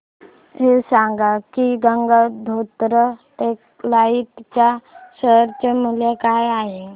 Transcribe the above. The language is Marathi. हे सांगा की गंगोत्री टेक्स्टाइल च्या शेअर चे मूल्य काय आहे